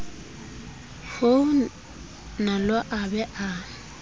ho nalo a be a